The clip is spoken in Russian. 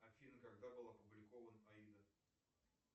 афина когда был опубликован аида